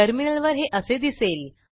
टर्मिनलवर हे असे दिसेल